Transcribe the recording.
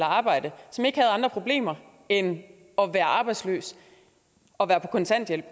arbejde og som ikke havde andre problemer end at være arbejdsløse og være på kontanthjælp